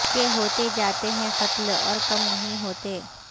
کہ ہوتے جاتے ہیں قتل اور کم نہیں ہوتے